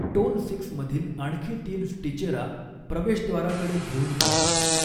Tone six मधील आणखी तीन स्टिचेरा प्रवेशद्वाराकडे घेऊन जातात.